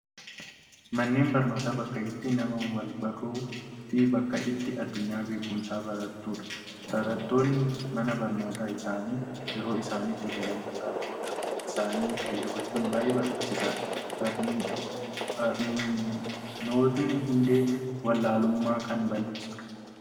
Manneen barnootaa bakka itti namaa wal baruu fi bakka itti adunyaa beekumsa baratudha. Barattoonni mana barnootaa isaanii yeroo isaaniiti galanii barnoota isaanii qayyabachuun baayyee barbaachisaadha. Barnootni hundee wallaalummaa kan balleessudha.